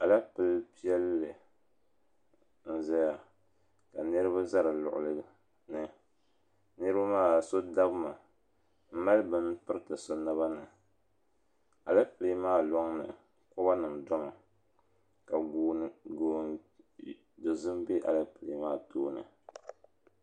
Alapilee piɛli n zaya ka niriba za di luɣuli ni niriba maa so dabmi m mali bini piriti so naba ni Alapilee maa loŋni koba nima domi ka goon'dozim be Alapilee maa tooni.